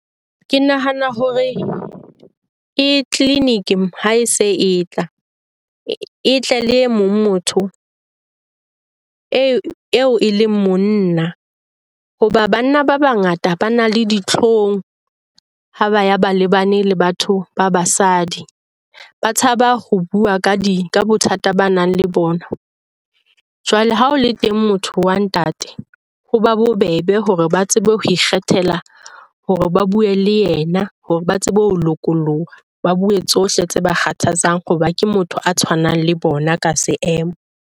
Ke nahana hore ke clinic ha se e tla e tle le motho eo e leng monna. Hoba banna ba bangata ba na le ditlhong ha ba ya ba lebane le batho ba basadi, ba tshaba ho bua ka di ka bothata ba nang le bona. Jwale ha o le teng motho wa ntate ho ba ba bobebe hore ba tsebe ho ikgethela hore ba buwe le yena hore ba tsebe ho lokoloha. Ba buwe tsohle tse ba kgathatsang hoba ke motho a tshwanang le bona ka seemo.